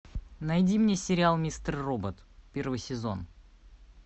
найди мне сериал мистер робот первый сезон